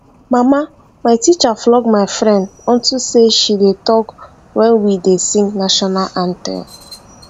mama my teacher flog my friend unto say she dey talk wen we dey sing national anthem